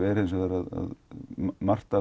er hins vegar að margt